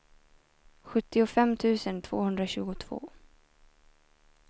sjuttiofem tusen tvåhundratjugotvå